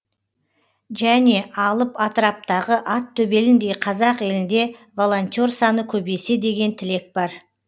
және алып атыраптағы ат төбеліндей қазақ елінде волонтер саны көбейсе деген тілек бар